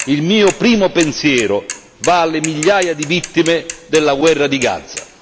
Il mio primo pensiero va alle migliaia di vittime della guerra di Gaza.